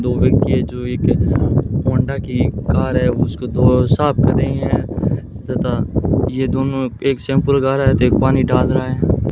दो व्यक्ति है जो एक होंडा की कार है उसको धो साफ कर रहे है तथा ये दोनों एक शैंपू लगा रहे थे एक पानी डाल रहे हैं।